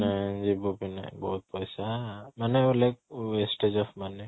ନାଇଁ ଯିବୁ ବି ନାଇଁ ବହୁତ ପଇସା ମାନେ wastes of money